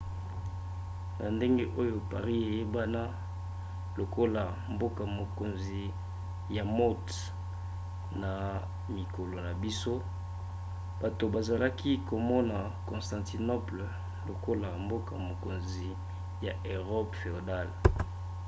na ndenge oyo paris eyebana lokola mboka-mokonzi ya mode na mikolo na biso bato bazalaki komona constantinople lokola mboka-mokonzi ya erope féodale